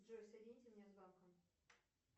джой соедините меня с банком